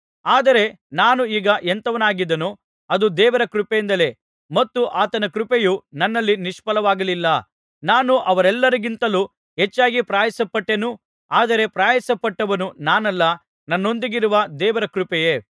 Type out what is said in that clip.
ಆದರೆ ನಾನು ಈಗ ಎಂಥವನಾಗಿದ್ದೇನೊ ಅದು ದೇವರ ಕೃಪೆಯಿಂದಲೇ ಮತ್ತು ಆತನ ಕೃಪೆಯು ನನ್ನಲ್ಲಿ ನಿಷ್ಫಲವಾಗಲಿಲ್ಲ ನಾನು ಅವರೆಲ್ಲರಿಗಿಂತಲೂ ಹೆಚ್ಚಾಗಿ ಪ್ರಯಾಸಪಟ್ಟೆನು ಆದರೆ ಪ್ರಯಾಸಪಟ್ಟವನು ನಾನಲ್ಲ ನನ್ನೊಂದಿಗಿರುವ ದೇವರ ಕೃಪೆಯೇ